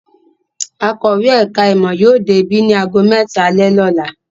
Akọ̀wé ẹ̀ka-ìmọ̀ yóò dé ibí ní ago mẹ́ta alẹ́ lọ́la.